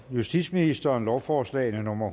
justitsministeren lovforslag nummer